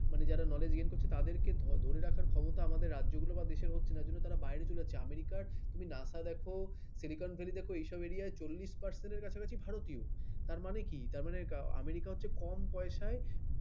মানে যারা knowledge gain করছে তাদেরকে ধরে রাখার ক্ষমতা রাজ্যগুলো বা দেশের হচ্ছে না তারা বাইরে চলে যাচ্ছে আমেরিকা, তুমি নাসা দেখো silicon valley দেখো এসব এরিয়ায় চহলিস percent ভারতীয় তার মানে কি তারমানে আমেরিকা হচ্ছে কম পয়সায়